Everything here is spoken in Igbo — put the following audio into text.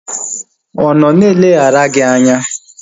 Ọ nọ na-eleghara gị anya?